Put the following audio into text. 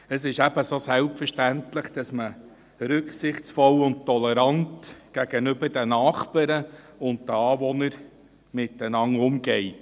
Es ist ebenso selbstverständlich, dass man rücksichtsvoll und tolerant mit den Nachbarn und Anwohnern umgeht.